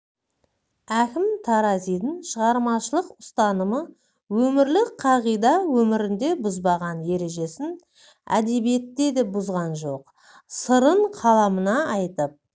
әкім таразидың шығармашылық ұстанымы өмірлік қағида өмірінде бұзбаған ережесін әдебиетте де бұзған жоқ сырын қаламына айтып